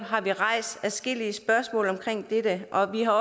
rejst adskillige spørgsmål om dette og vi har